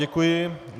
Děkuji.